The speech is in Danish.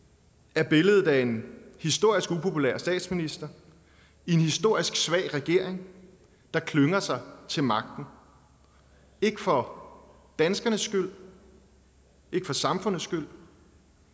er billedet af en historisk upopulær statsminister en historisk svag regering der klynger sig til magten ikke for danskernes skyld ikke for samfundets skyld